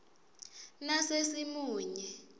nasesimunye